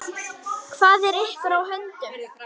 Hvað er ykkur á höndum?